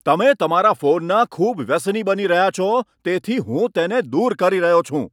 તમે તમારા ફોનના ખૂબ વ્યસની બની રહ્યા છો તેથી હું તેને દૂર કરી રહ્યો છું.